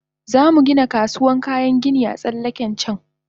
Zamu Gina kasuwan kayan gini a tsallaken can